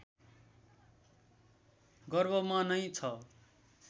गर्भमा नै छ